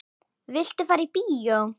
Viltu fara í bíó?